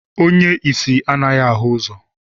Onye isi anaghị ahụ ụzọ